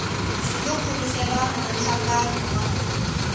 yo khulukelana na nhlangano wa